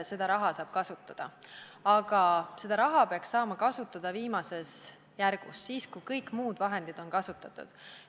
Seda raha saab kasutada, aga seda peaks saama kasutada viimases järgus – siis, kui kõik muud vahendid on kasutatud.